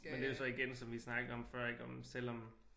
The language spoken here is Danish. Men det er jo så igen som vi snakkede om før ik om selvom